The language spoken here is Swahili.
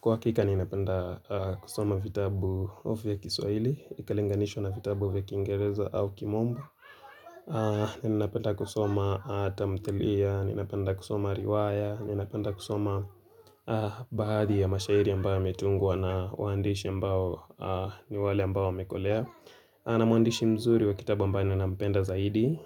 Kwa hakika ninapenda kusoma vitabu vya kiswahili, ikilinganishwa na vitabu vya kingereza au kimombo. Ninapenda kusoma tamthilia, ninapenda kusoma riwaya, ninapenda kusoma baadhi ya mashairi ambayo yametungwa na waandishi ambao ni wale ambao wamekolea. Anamuandishi mzuri wa kitabu ambaye nampenda zaidi,